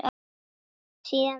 Hvað sem síðar verður.